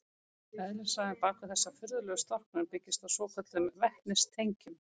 Eðlisfræðin bak við þessa furðulegu storknun byggist á svokölluðum vetnistengjum.